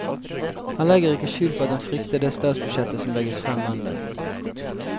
Han legger ikke skjul på at han frykter det statsbudsjettet som legges frem mandag.